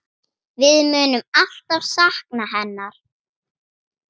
Við munum alltaf sakna hennar.